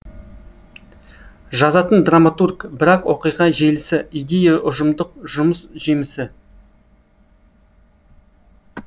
жазатын драматург бірақ оқиға желісі идея ұжымдық жұмыс жемісі